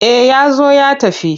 Eh ya zo ya tafi.